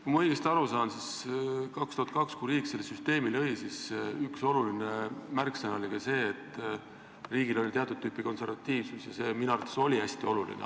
Kui ma õigesti aru saan, siis 2002, kui riik selle süsteemi lõi, oli üks oluline märksõna ka see, et riik lähtub teatud tüüpi konservatiivsusest, ja see oli minu arvates hästi oluline.